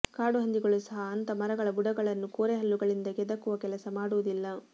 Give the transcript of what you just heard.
ಕಾಡು ಹಂದಿಗಳು ಸಹ ಅಂಥ ಮರಗಳ ಬುಡಗಳನ್ನು ಕೋರೆಹಲ್ಲುಗಳಿಂದ ಕೆದಕುವ ಕೆಲಸ ಮಾಡುವುದಿಲ್ಲ